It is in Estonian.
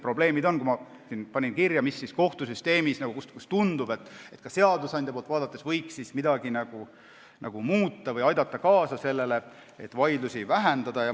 Ma panin kirja, mida kohtusüsteemis ja samas ka seadusandja poolt vaadates võiks muuta, et aidata kaasa vaidluste arvu vähenemisele.